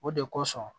O de kosɔn